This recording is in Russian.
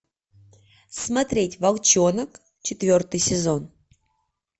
смотреть волчонок четвертый сезон